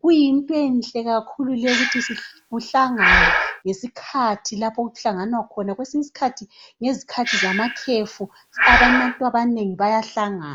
Kuyinto enhle kakhulu leyo ukuthi kuhlanganwe ngesikhathi lapho okuhlanganwa khona. Kwesinye isikhathi ngezikhathi zamakhefu abantu abanengi bayahlangana.